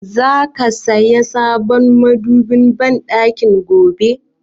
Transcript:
Za ki saya sabon madobin banɗakin gobe?